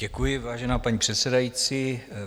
Děkuji, vážená paní předsedající.